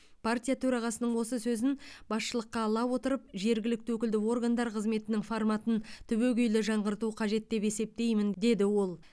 партия төрағасының осы сөзін басшылыққа ала отырып жергілікті өкілді органдар қызметінің форматын түбегейлі жаңғырту қажет деп есептеймін деді ол